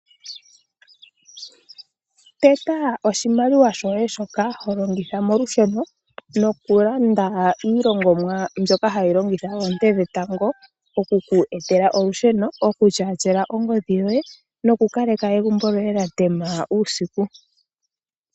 Eta oshimaliwa shoye shoka hilongitha molusheno nokulanda iilongomwa mbyoka hayi longitha woo oonte dhetango oku ku etela olusheno okutyaatyela ongodhi yoye noku kaleka egumbo lyoye lya tema uusiku